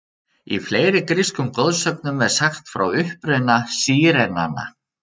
Í fleiri grískum goðsögnum er sagt frá uppruna sírenanna.